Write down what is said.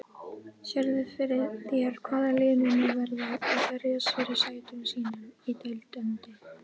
Sérðu fyrir þér hvaða lið munu verða að berjast fyrir sætum sínum í deildinni?